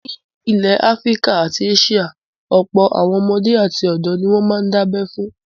Ní ilẹ̀ Áfíríkà àti Áṣíà, ọ̀pọ̀ àwọn ọmọdé àti ọ̀dọ̀ ni wọ́n máa ń dá abẹ fún.